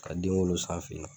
Ka den wolo sanfe ye